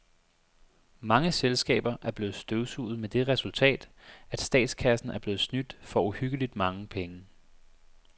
Mange selskaber er blevet støvsuget med det resultat, at statskassen er blevet snydt for uhyggeligt mange penge.